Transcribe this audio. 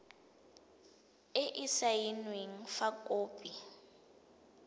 e e saenweng fa khopi